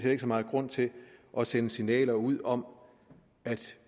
ikke så meget grund til at sende signaler ud om at